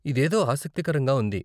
ఇదేదో ఆసక్తికరంగా ఉంది.